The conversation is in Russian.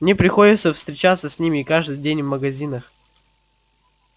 мне приходится встречаться с ними каждый день в магазинах